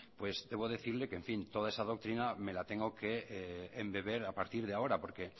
pues debo decirle que toda esa doctrina me la tengo que embeber a partir de ahora porque